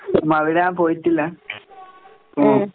ഉം അവിടെ ഞാൻ പോയിട്ടില്ല. ഉം.